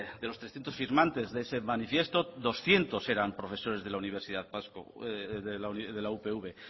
de los distintos firmantes de ese manifiesto doscientos eran profesores de la universidad vasca de la upv